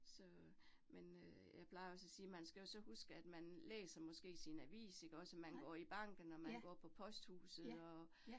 Så men øh jeg plejer også at sige, man skal jo så huske, at man læser måske sin avis ikke også, og man går i banken, og man går på posthuset og